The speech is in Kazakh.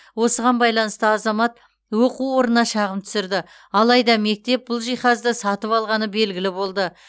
осыған байланысты азамат оқу орнына шағым түсірді алайда мектеп бұл жиһазды сатып алғаны белгілі болды